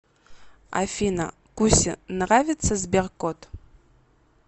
афина кусе нравится сберкот